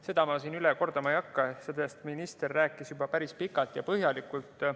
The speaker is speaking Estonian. Seda ma siin üle kordama ei hakka, sest minister rääkis juba päris pikalt ja põhjalikult.